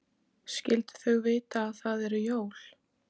Skyldu þau vita að það eru jól?